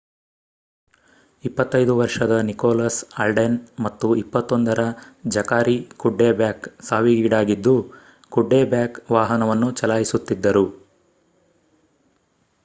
25 ವರ್ಷದ Nicholas Alden ಮತ್ತು 21 ರ ಜಕಾರಿ ಕುಡ್ಡೆಬ್ಯಾಕ್ ಸಾವಿಗೀಡಾಗಿದ್ದು ಕುಡ್ಡೆಬ್ಯಾಕ್ ವಾಹನವನ್ನು ಚಲಾಯಿಸುತ್ತಿದ್ದರು